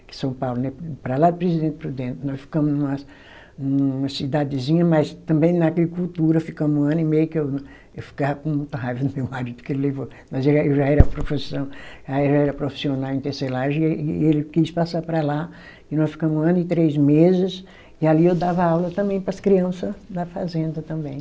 em São Paulo, para lá de Presidente Prudente, nós ficamos numa, numa cidadezinha, mas também na agricultura, ficamos um ano e meio que eu, eu ficava com muita raiva do meu marido, porque ele levou, nós era, eu já era profissão, eu já era profissional em tecelagem e ê, e ele quis passar para lá, e nós ficamos um ano e três meses, e ali eu dava aula também para as criança da fazenda também.